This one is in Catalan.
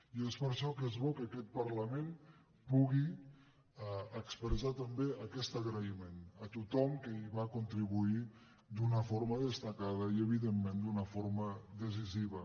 i és per això que és bo que aquest parlament pugui expressar també aquest agraïment a tothom que hi va contribuir d’una forma destacada i evidentment d’una forma decisiva